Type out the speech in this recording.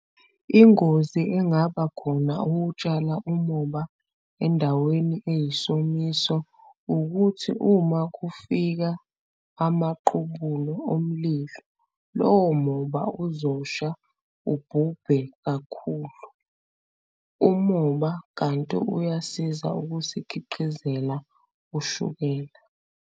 Ingozi engaba khona ukutshala umoba endaweni eyisomiso ukuthi uma kufika amaqubulo omlilo, lowo moba uzosha ubhubhe kakhulu umoba, kanti uyasiza ukusikhiqizela ushukela.